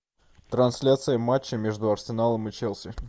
трансляция матча между арсеналом и челси